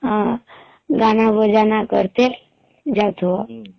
ହଁ ଗାନା ବଜାନା କର ତେ ଯାଉଥିବ